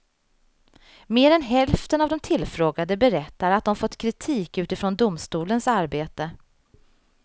Mer än hälften av de tillfrågade berättar att de fått kritik utifrån mot domstolens arbete.